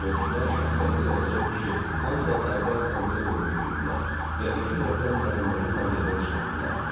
Qonşular Şahbəri ilə Rəcəb kişi hamıdan əvvəl təndirə doğru yüyürdülər və iki tərəfdən Məhəmmədi təndirdən çıxartdılar.